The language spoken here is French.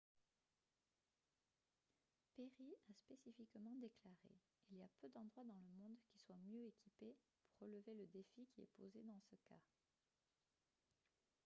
perry a spécifiquement déclaré :« il y a peu d'endroits dans le monde qui soient mieux équipés pour relever le défi qui est posé dans ce cas »